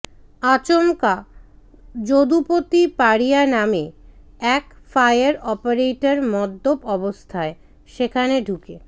আচমকা যদুপতি পারিয়া নামে এক ফায়ার অপারেটর মদ্যপ অবস্থায় সেখানে ঢুকে